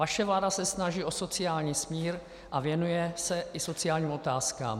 Vaše vláda se snaží o sociální smír a věnuje se i sociálním otázkám.